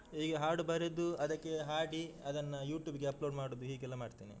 ಹೀಗೆ ಹಾಡು ಬರೆದು ಅದಕ್ಕೆ ಹಾಡಿ, ಅದನ್ನ YouTube ಗೆ upload ಮಾಡುದು ಹೀಗೆಲ್ಲ ಮಾಡ್ತೇನೆ.